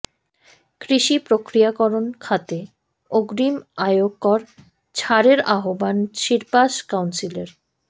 কৃষি প্রক্রিয়াকরণ খাতে অগ্রিম আয়কর ছাড়ের আহ্বান শিপার্স কাউন্সিলের